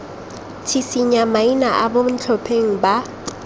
tshisinya maina a bontlhopheng ba